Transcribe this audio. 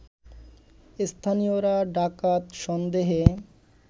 স্থানীয়রা ডাকাত সন্দেহে